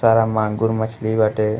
सारा माँगुर मछली बाटे।